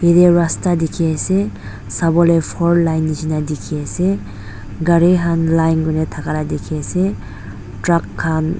yateu rasta dikhi ase sawole fourline nishina dikhi ase gari han line kurina thaka la dikhi ase truck khan.